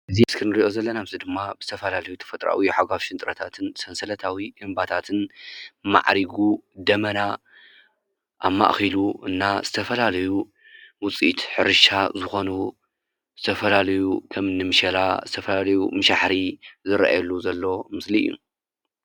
እዚ ኣብ ምስሊ እንሪኦ ዘለና ድማ ብዝተፈላለዩ ተፈጥራኣዊ ሓጓፍ ሽንጥሮታትን ሰንሰለታዊ እምባታትን ማዕሪጉ ደመና ኣማእኺሉን ዝተፈላለዩ ውፅኢት ሕርሻ ዝኮኑ ዝተፈላለዩ ከምኒ ምሸላ፣ ዝተፈላለዩ ምሸላ ባሕሪ ዝረኣየሉ ዘሎ ምስሊ እዩ።